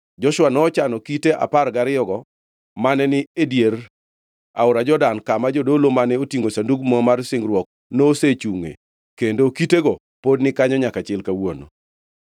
Joshua nochano kite apar gariyogo mane ni e dier aora Jordan kama jodolo mane otingʼo Sandug Muma mar singruok nosechungʼe kendo kitego pod ni kanyo nyaka chil kawuono.